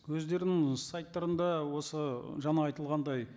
өздерінің сайттарында осы жаңа айтылғандай